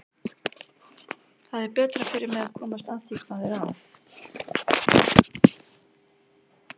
Það er betra fyrir mig að komast að því hvað er að.